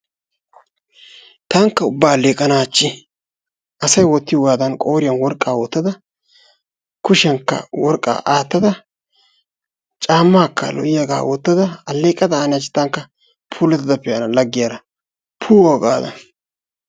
Tankka ubba aleqqana hachchi asay wottiyogadan qooriyan woriqqa wottada kushiyankka worqqa aattadda caamakka lo'iyaaga wottada alleqada anne hachchi puulattada pe'anna laggiyaara puwaa gaada.